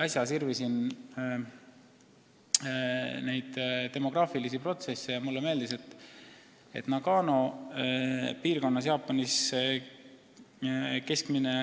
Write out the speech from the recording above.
Äsja ma uurisin maailma demograafilisi protsesse ja oli tore lugeda, et Nagano piirkonnas Jaapanis on keskmine